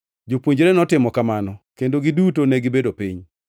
Jopuonjre notimo kamano kendo giduto negibedo piny.